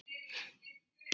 Ég segi ekkert.